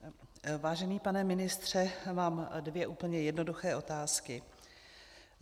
Vážený pane ministře, mám dvě úplně jednoduché otázky.